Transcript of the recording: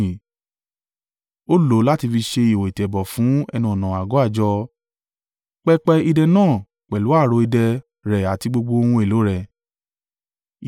Ó lò ó láti fi ṣe ihò ìtẹ̀bọ̀ fún ẹnu-ọ̀nà àgọ́ àjọ, pẹpẹ idẹ náà pẹ̀lú ààrò idẹ rẹ̀ àti gbogbo ohun èlò rẹ̀,